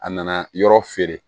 A nana yɔrɔ feere